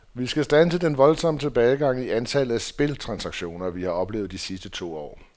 Vi skal standse den voldsomme tilbagegang i antallet af spiltransaktioner, vi har oplevet de sidste to år.